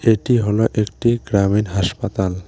এটি হলো একটি গ্রামীণ হাসপাতাল ।